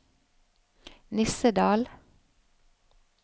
Nissedal